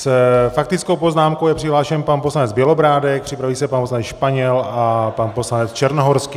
S faktickou poznámkou je přihlášen pan poslanec Bělobrádek, připraví se pan poslanec Španěl a pan poslanec Černohorský.